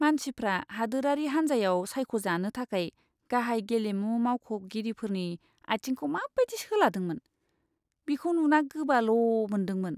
मानसिफ्रा हादोरारि हान्जायाव सायख'जानो थाखाय गाहाय गेलेमु मावख'गिरिफोरनि आथिंखौ माबायदि सोलादोंमोन, बिखौ नुना गोबाल' मोन्दोंमोन।